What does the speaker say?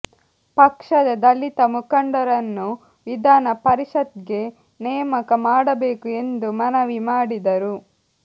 ಪಕ್ಷದ ದಲಿತ ಮುಖಂಡರನ್ನು ವಿಧಾನ ಪರಿಷತ್ಗೆ ನೇಮಕ ಮಾಡಬೇಕು ಎಂದು ಮನವಿ ಮಾಡಿದರು